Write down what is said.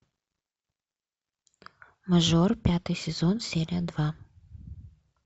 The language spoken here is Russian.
мажор пятый сезон серия два